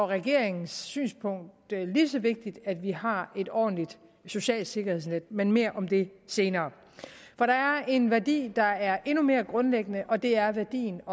regeringens synspunkt at det er lige så vigtigt at vi har et ordentligt socialt sikkerhedsnet men mere om det senere for der er en værdi der er endnu mere grundlæggende og det er værdien